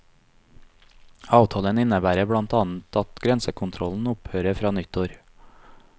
Avtalen innebærer blant annet at grensekontrollen opphører fra nyttår.